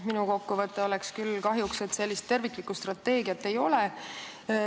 Minu kokkuvõte on küll kahjuks selline, et terviklikku strateegiat ei ole.